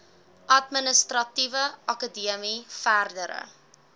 administratiewe akademie verdere